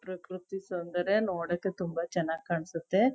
ಪ್ರಕೃತಿ ಸೌಂದರ್ಯ ನೋಡಕ್ಕೆ ತುಂಬಾ ಚನಾಗ್ ಕಾಣ್ಸತ್ತೆ.